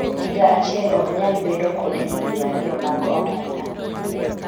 higa achiel ok nyal bedo kod higni ariyo mag omenda